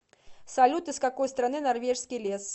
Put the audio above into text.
салют из какой страны норвежский лес